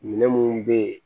Minɛn munnu be ye